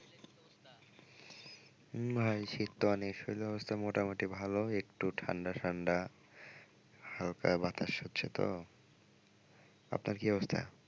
উম ভাই শীত তো অনেক শরীরের অবস্থা মোটামুটি ভালো একটু ঠান্ডা ঠান্ডা হালকা বাতাস হচ্ছে তো আপনার কি অবস্থা?